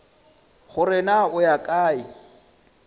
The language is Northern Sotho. gore na o ya kae